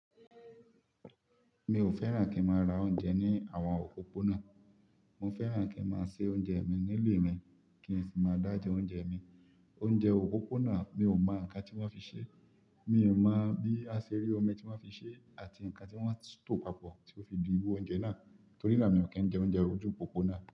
Mi ò fẹ́ràn kí n máa ra oúnjẹ ní àwọn òpópónà. Mo fẹ́ràn kí n máa se oúnjẹ mi nílé mi kí n sì máa dà jẹ oúnjẹ mi. Oúnjẹ òpópónà, mi ò mọ ǹkan tí wọ́n fi ṣe. Mi ò mọ bí aṣèrí omi tí wọ́n fi ṣe àti ǹkan tí wọ́n ń tò papọ̀ tí ó fi di irú oúnjẹ náà. Torí nà mí ò kí ń jẹ oúnjẹ ojú òpópónà.